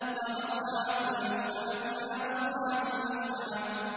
وَأَصْحَابُ الْمَشْأَمَةِ مَا أَصْحَابُ الْمَشْأَمَةِ